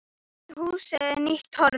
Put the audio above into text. Við húsið er nýtt torg.